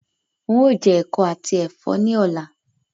Ń ó jẹ ẹ̀kọ àti Ẹ̀fọ́ ni ọ̀la